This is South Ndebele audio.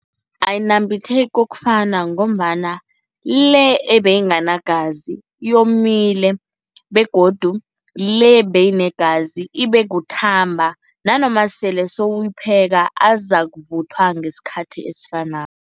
Ayinambitheki kokufana ngombana le ebeyinganagazi yomile begodu le beyinegazi ibe kuthamba nanoma sele sowuyipheka, azakuvuthwa ngesikhathi esifanako.